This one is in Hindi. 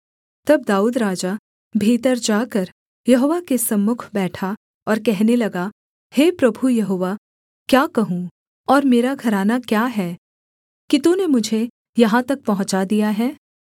तब दाऊद राजा भीतर जाकर यहोवा के सम्मुख बैठा और कहने लगा हे प्रभु यहोवा क्या कहूँ और मेरा घराना क्या है कि तूने मुझे यहाँ तक पहुँचा दिया है